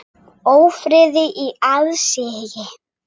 Ófriði í aðsigi.